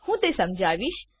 હું તે સમજાવીશ